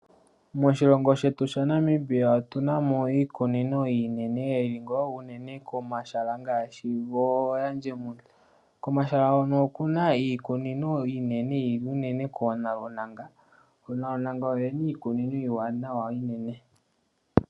Moshilongo shetu sha Namibia otuna mo iikunino iinene, yili ngaa unene komahala ngaashi goOranjemund. Komahala hono okuna iikunino iinene yili unene koonalunanga. Oonalunanga oyo yena iikunino iiwanawa iinene.